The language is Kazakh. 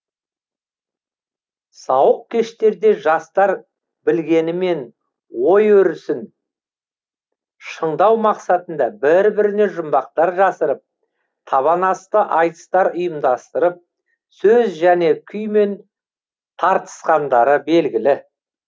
сауық кештерде жастар білгенімен ой өрісін шыңдау мақсатында бір біріне жұмбақтар жасырып табан асты айтыстар ұйымдастырып сөз және күймен тартысқандары белгілі